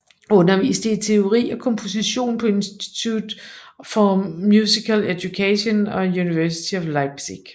Underviste i teori og komposition på Institute for Musical Education og University of Leipzig